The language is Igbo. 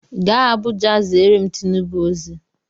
Gaa Abuja ziere m Tinubu ozi!